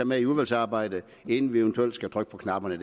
med i udvalgsarbejdet inden vi eventuelt skal trykke på knapperne i